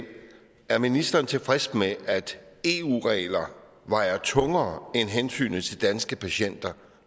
det er ministeren tilfreds med at eu regler vejer tungere end hensynet til danske patienter